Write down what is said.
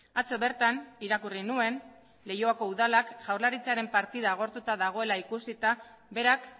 atzo bertan irakurri nuen leioako udalak jaurlaritzaren partida agortuta dagoela ikusita berak